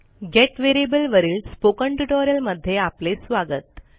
gate variable वरील spoken ट्युटोरियलमध्ये आपले स्वागत